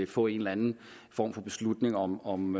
få en eller anden form for beslutning om om